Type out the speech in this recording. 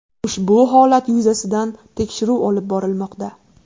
Ushbu holat yuzasidan tekshiruv olib borilmoqda.